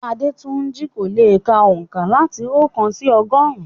Adetunji kò lè ka oǹkà láti oókan sí ọgọ́rùn-ún.